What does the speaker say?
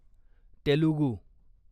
Telugu